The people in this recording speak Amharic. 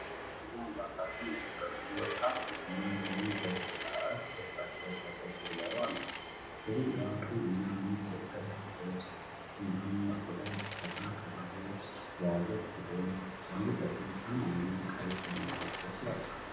ባህላዊ የትግርኛ አልባሳትን የለበሱ ወጣት ሴት እና ወንድ በደስታ እርስ በእርሳቸው ፈገግ ብለው አሉ። ሴትየዋ ቀይ እና ነጭ የጥልፍ ልብስ እንዲሁም በቆዳ የተሰራ ከበሮ የያዘች ሲሆን ወንዱ ደግሞ ሰማያዊ ጥልፍ ያለበት ልብስ ለብሷል።